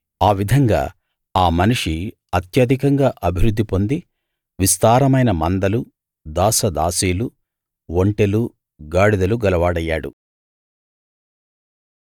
ఆ విధంగా ఆ మనిషి అత్యధికంగా అభివృద్ధి పొంది విస్తారమైన మందలు దాసదాసీలు ఒంటెలు గాడిదలు గలవాడయ్యాడు